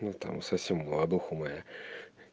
ну там совсем молодуха моя